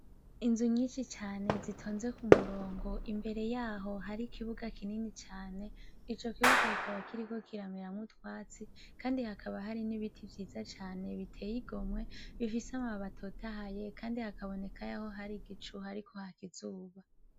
Inzu nyinshi cane zitonze ku murongo imbere yaho hari ikibuga kinini cane ico kibuga kikaba kiriko kirameramwo utwatsi, kandi hakaba hari n'ibiti vyiza cane biteye igomwe bifise ama bababi atotahaye, kandi hakaboneka yaho hari igicu hariko haka izuba.